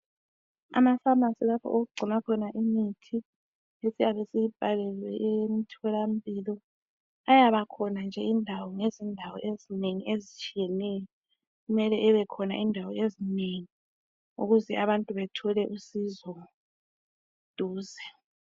Amapharmacy lapho okugcinwa khona imithi esiyabe siyibhalelwe emtholampilo ayaba khona nje indawo ngezindawo ezinengi ezitshiyeneyo. Kumele ebekhona indawo ezinengi ukuze abantu bethole usizo duze.